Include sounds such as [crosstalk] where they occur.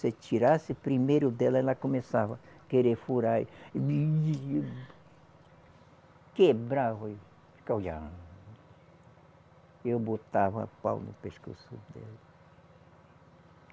Se tirasse primeiro dela, ela começava querer furar e [unintelligible] Quebrava e ficava olhando. Eu botava pau no pescoço dela.